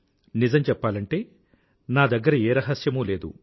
నిజం చెప్పాలంటే నా దగ్గర ఏ రహస్యమూ లేదు